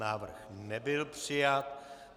Návrh nebyl přijat.